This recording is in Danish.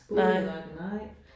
Skole nej nej